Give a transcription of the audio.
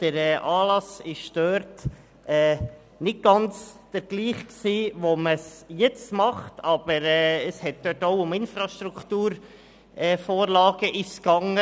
Der Anlass war nicht ganz derselbe wie jetzt, aber es ging auch um Infrastrukturvorhaben.